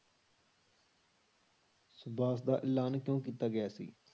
ਸੁਭਾਸ਼ ਦਾ ਐਲਾਨ ਕਿਉਂ ਕੀਤਾ ਗਿਆ ਸੀ?